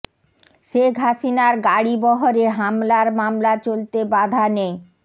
শেখ হাসিনার গাড়ি বহরে হামলার মামলা চলতে বাধা নেই